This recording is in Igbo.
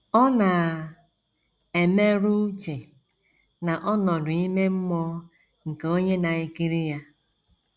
Ọ na - emerụ uche na ọnọdụ ime mmụọ nke onye na - ekiri ya.